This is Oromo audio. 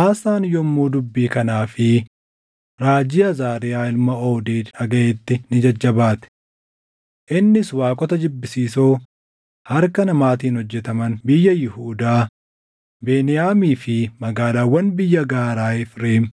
Aasaan yommuu dubbii kanaa fi raajii Azaariyaa ilma Oodeed dhagaʼetti ni jajjabaate. Innis waaqota jibbisiisoo harka namaatiin hojjetaman biyya Yihuudaa, Beniyaamii fi magaalaawwan biyya gaaraa Efreem